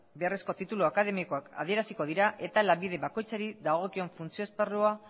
beharrezko titulu akademikoak adieraziko dira eta lanbide bakoitzari dagokion funtzio esparrua